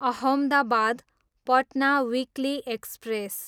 Ahmedabad, Patna weekly express